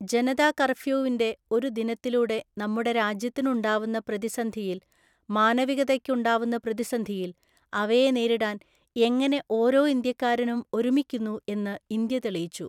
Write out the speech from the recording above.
ജനതാ കര്‍ഫ്യൂവിന്റെ ഒരു ദിനത്തിലൂടെ നമ്മുടെ രാജ്യത്തിന് ഉണ്ടാവുന്ന പ്രതിസന്ധിയില്‍, മാനവികതയ്ക്ക് ഉണ്ടാവുന്ന പ്രതിസന്ധിയില്‍, അവയെ നേരിടാന്‍ എങ്ങനെ ഓരോ ഇന്ത്യക്കാരനും ഒരുമിക്കുന്നു എന്നു ഇന്ത്യ തെളിയിച്ചു.